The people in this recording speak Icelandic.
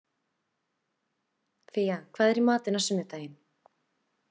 Fía, hvað er í matinn á sunnudaginn?